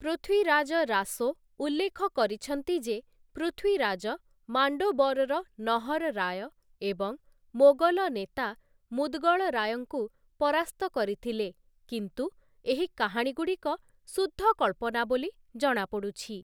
ପୃଥ୍ୱୀରାଜ ରାସୋ ଉଲ୍ଲେଖ କରିଛନ୍ତି ଯେ ପୃଥ୍ୱୀରାଜ ମାଣ୍ଡୋବର୍‌ର ନହର୍‌ ରାୟ ଏବଂ ମୋଗଲ ନେତା ମୁଦ୍‌ଗଳ ରାୟଙ୍କୁ ପରାସ୍ତ କରିଥିଲେ, କିନ୍ତୁ ଏହି କାହାଣୀଗୁଡ଼ିକ ଶୁଦ୍ଧ କଳ୍ପନା ବୋଲି ଜଣାପଡ଼ୁଛି ।